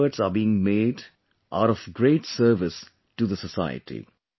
Whatever efforts are being made are of great service to the society